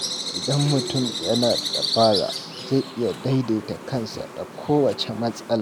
Idan mutum yana da dabara, zai iya daidaita kansa da kowace matsala.